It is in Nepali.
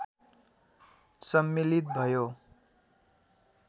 सम्मिलित भयो